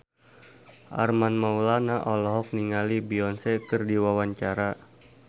Armand Maulana olohok ningali Beyonce keur diwawancara